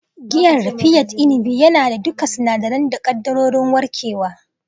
Giyan raffia inabi yana da duka sinadirai da kaddarorin warkewa.